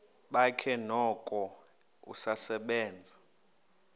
bakhe noko usasebenza